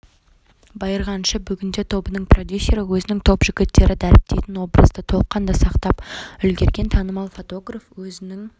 байырғы әнші бүгінде тобының продюсері өзінің топ жігіттері дәріптейтін образды толыққанды сақтап үлгерген танымал фотограф өзінің